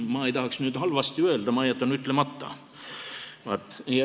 Ma ei tahaks halvasti öelda, ma jätan ütlemata.